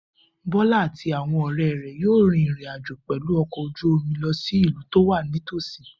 Bola àti àwọn ọ̀rẹ́ rẹ̀ yóò rin ìrìn àjò pẹ̀lú ọkọ̀ ojú omi lọ sí ìlú tó wà nítòsí.